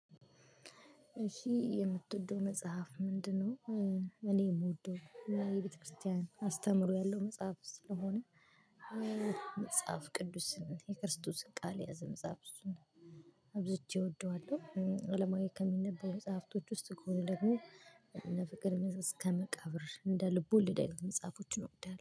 እሺ የምትወደው መጽሐፍ ምንድነው? እኔ የምወደው የቤተክርስቲያን አስተምሮ ያለው መጽሐፍ ስለሆነ። መጽሐፍ ቅዱስን የክርስቶስን ቃል ያዘ መጽሐፍ እሱን አብዝቼ እወደዋለሁ። አለማዊ ከሚነበበው መጽሐፍቶች ውስጥ ከሆነ ደግሞ። እነ ፍቅር እስከመቃብር እንደ ልብ ወለድ አይነት መጻፎችን እወዳለሁ